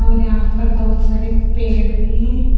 और यहां पर बहुत सारे पेड़ भी है।